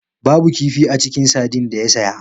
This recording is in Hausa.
Babu kifi a cikin sardine da ya saya.